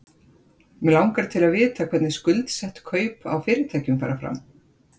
Mig langar til að vita hvernig skuldsett kaup á fyrirtækjum fara fram?